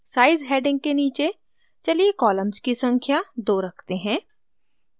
size heading के नीचे चलिए columns की संख्या 2 रखते हैं